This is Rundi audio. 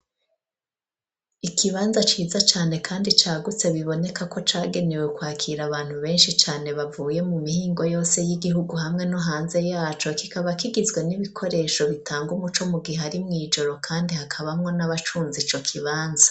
Ikibanza ciza cane kandi cagutse biboneka ko cagenewe kwakira abantu benshi cane bavuye mu mihingo yose y'igihugu hamwe no hanze yaco, kikaba kigizwe n'ibikoresho bitanga umuco mu gihe ari mw'ijoro kandi hakabamwo n'abacunze ico kibanza.